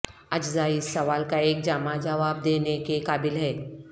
اجزاء اس سوال کا ایک جامع جواب دینے کے قابل ہے